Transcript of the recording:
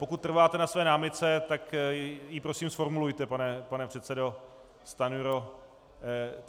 Pokud trváte na své námitce, tak ji prosím zformulujte, pane předsedo Stanjuro.